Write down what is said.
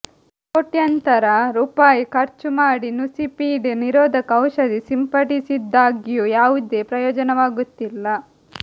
ಕೋಟ್ಯಂತರ ರೂಪಾಯಿ ಖರ್ಚು ಮಾಡಿ ನುಸಿಪೀಡೆ ನಿರೋಧಕ ಔಷಧಿ ಸಿಂಪಡಿಸಿದಾಗ್ಯೂ ಯಾವುದೇ ಪ್ರಯೋಜನವಾಗುತ್ತಿಲ್ಲ